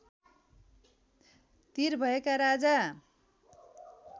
तिर भएका राजा